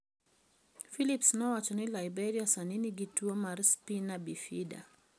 Philips nowacho ni Liberia sani nigi tuwo mar spina bifida.